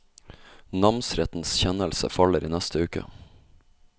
Namsrettens kjennelse faller i neste uke.